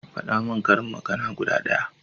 Faɗa min karin magana guda ɗaya